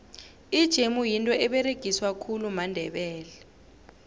ijemu yinto eberegiswa khulu mandebele